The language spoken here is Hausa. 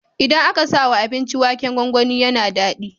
Idan aka sawa abinci waken gwangwani yAna dadi